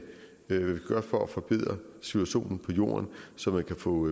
gøre for at forbedre situationen på jorden så man kan få